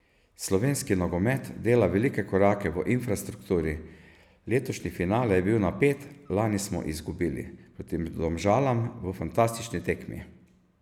Slovenski nogomet dela velike korake v infrastrukturi, letošnji finale je bil napet, lani smo izgubili proti Domžalam v fantastični tekmi.